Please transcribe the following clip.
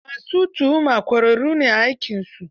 Ma su tuhuma ƙwararru ne a aikinsu.